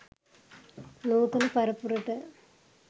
නූතන පරපුරට